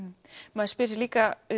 maður spyr sig líka